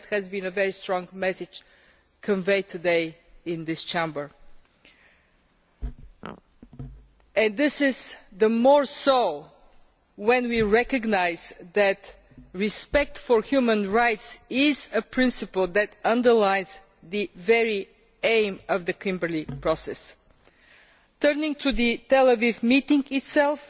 That has been a very strong message conveyed today in this Chamber all the more so if we recognise that respect for human rights is a principle that underlies the very aim of the Kimberley Process. Turning to the Tel Aviv meeting itself,